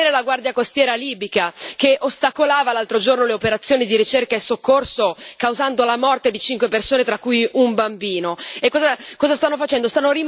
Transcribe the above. Si stanno concentrando a sostenere la Guardia costiera libica, che l'altro giorno ostacolava le operazioni di ricerca e soccorso, causando la morte di cinque persone tra cui un bambino.